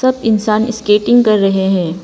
सब इंसान स्केटिंग कर रहे है।